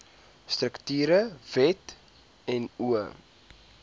strukture wet no